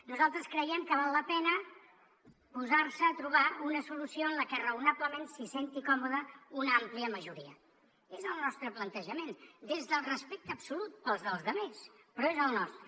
nosaltres creiem que val la pena posar se a trobar una solució en què raonablement s’hi senti còmoda una àmplia majoria i és el nostre plantejament des del respecte absolut pels dels altres però és el nostre